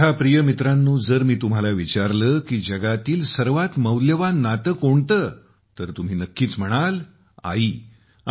माझ्या प्रिय मित्रांनो जर मी तुम्हाला विचारले की जगातील सर्वात मौल्यवान नाते कोणते तर तुम्ही नक्कीच म्हणाल - "आई"